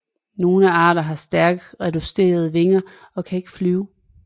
Nogle arter har stærkt reducerede vinger og kan ikke flyve